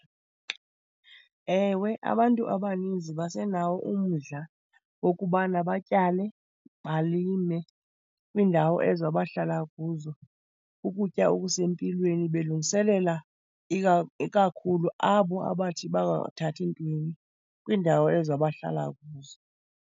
Ewe, abantu abaninzi basenawo umdla wokubana batyale, balime kwiindawo ezo abahlala kuzo, ukutya okusempilweni, belungiselela ikakhulu abo abathi bangathathi ntweni kwiindawo ezo abahlala kuzo.